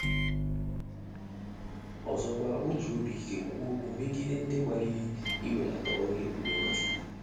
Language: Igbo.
Ọzọkwa, o ji obi ike kwuo okwu megide ndị gbalịrị iwelata ọrụ ebube Nwachukwu.